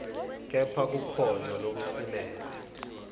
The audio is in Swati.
kepha kukhona lokusilele